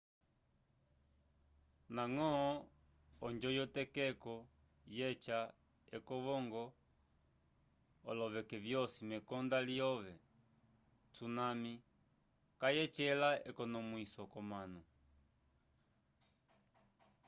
ndañgo onjo yetokeko yeca ekovongo olokeke vyosi mekonda lyo tsunami kayacela ekonomwiso k'omanu